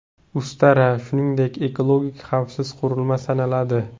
Ustara, shuningdek, ekologik xavfsiz qurilma sanaladi.